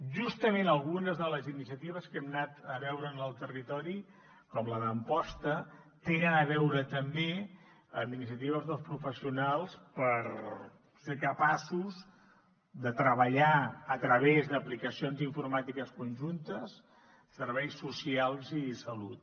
justament algunes de les iniciatives que hem anat a veure en el territori com la d’amposta tenen a veure també amb iniciatives dels professionals per ser capaços de treballar a través d’aplicacions informàtiques conjuntes serveis socials i salut